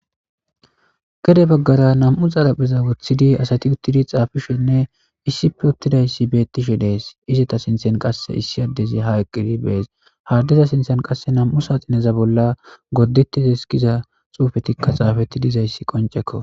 Gede baggara namm'u xarapheza woththidi asati uttidi xaafishenne issippe uttidayssi beetishe de'eesi. Izeta sinthen qasse issi addezi ha eqqidi be'esi. Ha addeza sinththan qasse namm'u saaxineza bolla gorttetidesi giza xuufetikka xaafeti dizayssi qonccekko.